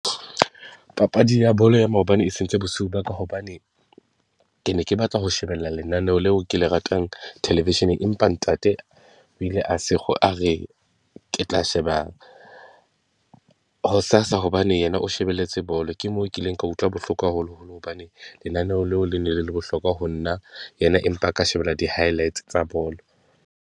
Papadi ya bolo ya maobane e sentse bosiu ba ka, hobane ke ne ke batla ho shebella lenaneo leo ke le ratang television-eng, empa ntate o ile a sekgo a re ke tla sheba hosasa hobane yena o shebelletse bolo. Ke mo ke ikeng ka utlwa bohloko haholoholo hobane lenaneo leo le ne le le bohlokwa ho nna yena, empa a ka shebella di-highlights tsa bolo.